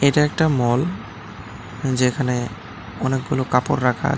এটা একটা মল যেখানে অনেকগুলো কাপড় রাখা আছে।